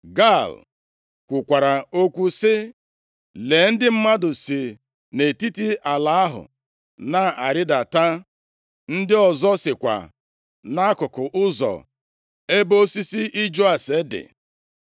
Gaal kwukwara okwu sị, “Lee ndị mmadụ si nʼetiti ala ahụ na-arịdata, ndị ọzọ sikwa nʼakụkụ ụzọ ebe osisi iju ase dị.”